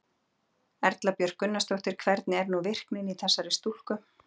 Erla Björg Gunnarsdóttir: Hvernig er nú virknin í þessari stúlku?